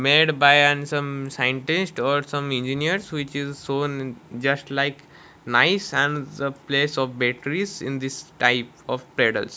made by an some scientist or some engineers which is so just like nice and some place of batteries in this type of pedals.